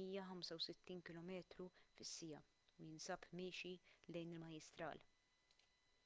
165 km/siegħa u jinsb miexi lejn il-majjistral